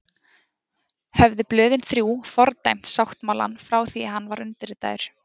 Höfðu blöðin þrjú fordæmt sáttmálann frá því að hann var undirritaður.